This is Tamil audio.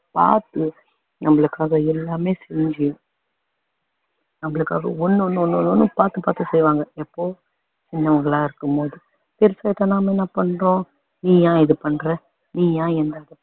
பாத்து நம்மளுக்காக எல்லாமே செஞ்சு நம்மளுக்காக ஒண்ணு ஒண்ணு ஒண்ணு ஒண்ணும் பாத்து பாத்து செய்வாங்க எப்போ சின்னவங்களாருக்கும்போது பெருசாயிட்டோம்னா நம்ம என்ன பண்றோம் நீ ஏன் இது பண்ற நீ ஏன் என்ன இப்படி